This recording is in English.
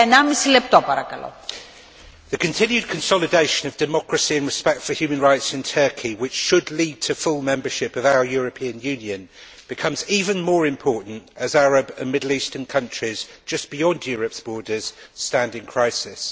Madam President, the continued consolidation of democracy and respect for human rights in Turkey, which should lead to full membership of our European Union, becomes even more important as Arab and Middle Eastern countries just beyond Europe's borders stand in crisis.